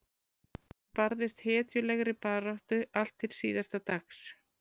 Hann barðist hetjulegri baráttu allt til síðasta dags.